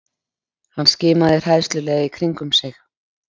Hann skimaði hræðslulega í kringum sig.